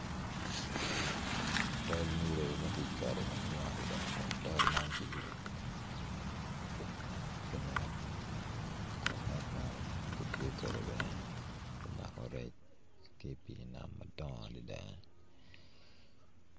Tol nilo magiketo madwong adada kun tol man kiyubo ki net, kun net man kitiyo kede bene me mako rec ki pi nam madongo adada ni.